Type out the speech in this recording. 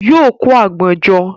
Yóò kó àgbọn jọ.